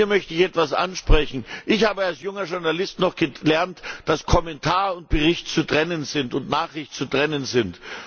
Hier möchte ich etwas ansprechen Ich habe als junger Journalist noch gelernt, dass Kommentar und Nachricht zu trennen sind.